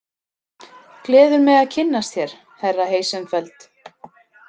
Gleður mig að kynnast þér, herra Heisenfeld